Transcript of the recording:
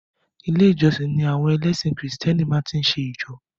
Ilé ìjósìn ni àwọn ẹlẹ́sìn krìstẹ́nì máa tí ń jọ́sìn.